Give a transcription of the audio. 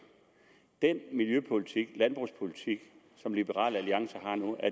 er den miljøpolitik landbrugspolitik som liberal alliance har nu